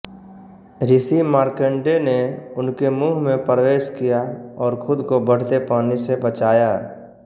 ऋषि मार्कण्डेय ने उनके मुंह में प्रवेश किया और खुद को बढ़ते पानी से बचाया